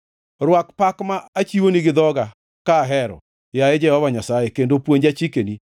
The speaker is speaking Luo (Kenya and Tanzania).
Rwak pak ma achiwoni gi dhoga ka ahero, yaye Jehova Nyasaye, kendo puonja chikeni.